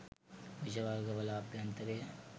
විෂ වර්ග වල අභ්‍යන්තරය